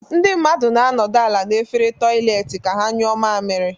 Ndị mmadụ na-anọdụ ala n'efere toịletị ka ha nyụọ mamiri.